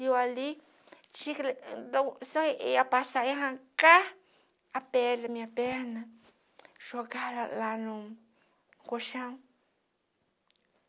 E eu ali, tinha que... só ia passar, ia arrancar a pele da minha perna, jogar lá no colchão.